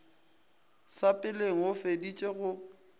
sa peleng go fediša go